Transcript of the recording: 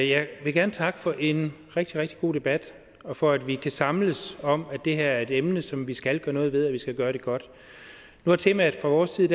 jeg vil gerne takke for en rigtig rigtig god debat og for at vi kan samles om at det her er et emne som vi skal gøre noget ved og at vi skal gøre det godt nu har temaet fra vores side